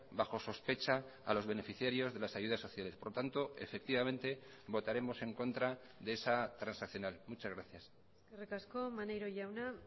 bajo sospecha a los beneficiarios de las ayudas sociales por lo tanto efectivamente votaremos en contra de esa transaccional muchas gracias eskerrik asko maneiro jauna